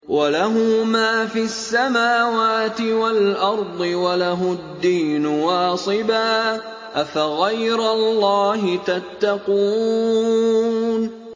وَلَهُ مَا فِي السَّمَاوَاتِ وَالْأَرْضِ وَلَهُ الدِّينُ وَاصِبًا ۚ أَفَغَيْرَ اللَّهِ تَتَّقُونَ